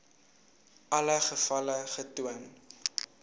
alle gevalle getoon